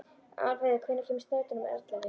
Álfheiður, hvenær kemur strætó númer ellefu?